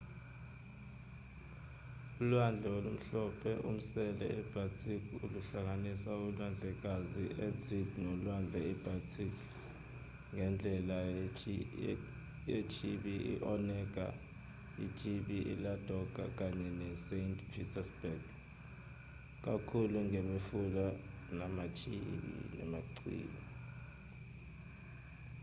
ulwandle olumhlophe-umsele i-baltic luhlanganisa ulwandlekazi i-arctic nolwandle i-baltic ngendlela yechibi i-onega ichibi i-ladoga kanye ne-saint petersburg kakhulu ngemifula namachibi